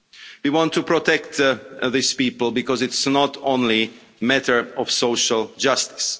We want to protect these people because it's not only a matter of social justice.